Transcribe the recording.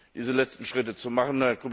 diese letzten Schritte zu machen.